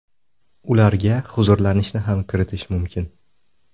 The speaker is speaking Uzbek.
Ularga huzurlanishni ham kiritish mumkin.